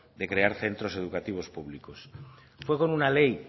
de crear centros educativos públicos fue con una ley